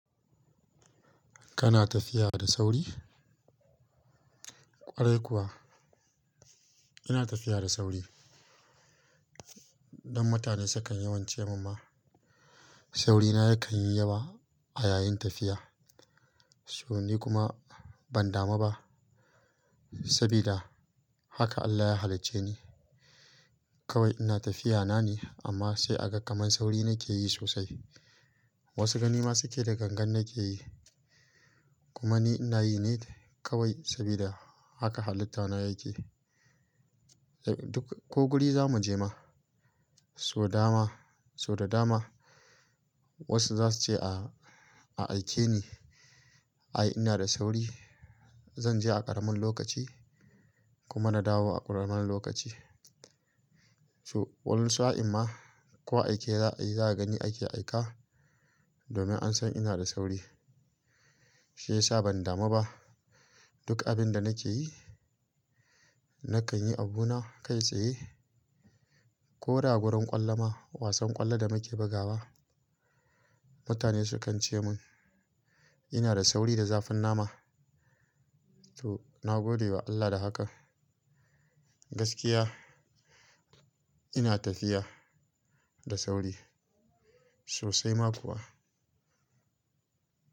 Kana tafiya da sauri? Kwarai kuwa ina tafiya da sauri. Dan mutane su kan yawan ce min ma sauri na ya kan yi yawa a yayin tafiya. So ni kuma ban damu ba, sabida haka Allah ya halicce ni. Kawai ina tafiya na ne amma sai a ga kaman sauri nake yi sosai. Wasu gani ma su ke da gangan nake yi kuma ni ina yi ne kawai sabida haka halitta na yake. Duk ko guri za mu je ma so dama so da dama wasu za su ce a aike ni. Ai ina da sauri. Zan je a ƙaramin lokaci kuma na dawo a ƙaramin lokaci. So wani sa'in ma ko aike za ayi za'a ga ni ake aika domin an san ina da sauri. Shi ya sa ban damu ba duk abin da nake yi. Nakan yi abuna kai tsaye koda gurin ƙwallo ma wasan ƙwallo da muke bugawa. Mutane su kan ce mun ina da sauri da zafin nama. So na gode wa Allah da hakan. Gaskiya ina tafiya da sauri sosai ma kuwa.